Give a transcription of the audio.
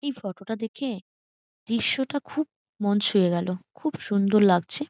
এই ফটোটা টা দেখে দৃশ্য টা খুব মন ছুঁয়ে গেলো খুব সুন্দর লাগছে।